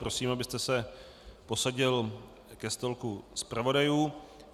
Prosím, abyste se posadil ke stolku zpravodajů.